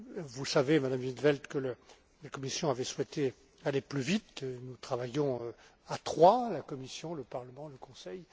Vous savez, Madame in 't Veld, que la Commission avait souhaité aller plus vite et nous travaillons à trois, la Commission, le Parlement et le Conseil.